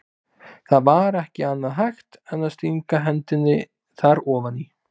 Það var ekki annað hægt en að stinga hendinni þar ofan í.